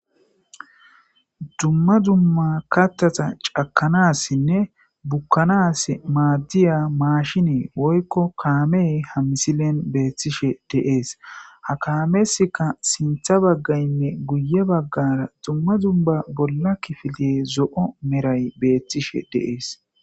Dumma dumma kattata cakanassinne bukkanas maaddiya maashinee woykko kaamey hamisilen beettishe deees ha kaamesika sintha baggaynne guye baggara dumma dumba bolla kifiliye zo7o meray beethtishe deees.